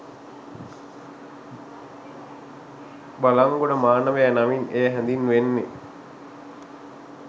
බළන්ගොඩ මානවයා නමින් එය හැඳින්වෙන්නේ